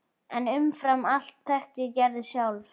En umfram allt þekkti ég Gerði sjálf.